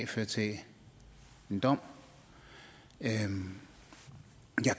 fører til en dom jeg